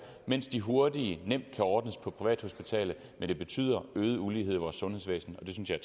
mens de hurtige nemt kan ordnes på privathospitalet men det betyder øget ulighed i vores sundhedsvæsen og det synes jeg